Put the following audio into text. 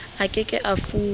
a ke ke a fuwa